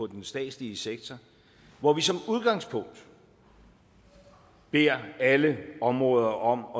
den statslige sektor hvor vi som udgangspunkt beder alle områder om